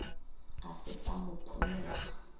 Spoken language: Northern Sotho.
a se sa mo phonyokga